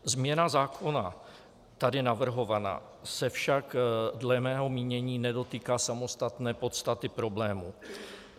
Změna zákona tady navrhovaná se však dle mého mínění nedotýká samostatné podstaty problému.